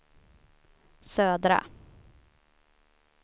södra